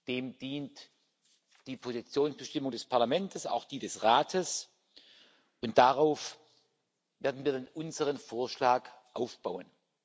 Dem dient die Positionsbestimmung des Parlaments, auch die des Rates, und darauf werden wir dann unseren Vorschlag aufbauen.